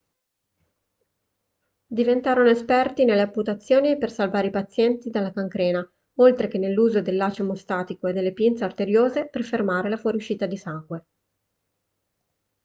diventarono esperti nelle amputazioni per salvare i pazienti dalla cancrena oltre che nell'uso del laccio emostatico e delle pinze arteriose per fermare la fuoriuscita di sangue